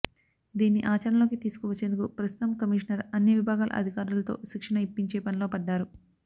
దీన్ని ఆచరణలోకి తీసుకు వచ్చేందుకు ప్రస్తుతం కమిషనర్ అన్ని విభాగాల అధి కారులతో శిక్షణ ఇప్పించే పనిలో పడ్డారు